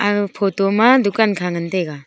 aga photo ma dukan kha ngan taiga.